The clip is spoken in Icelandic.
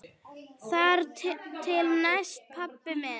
Þar til næst, pabbi minn.